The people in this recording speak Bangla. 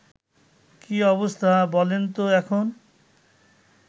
কী অবস্থা বলেন তো এখন